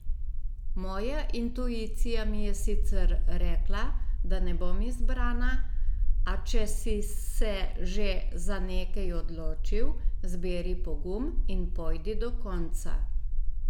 Moja intuicija mi je sicer rekla, da ne bom izbrana, a če si se že za nekaj odločil, zberi pogum in pojdi do konca.